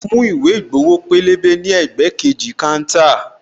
Mo mú ìwé ìgbowo pélébé ní ẹ̀gbẹ́ kejì káńtà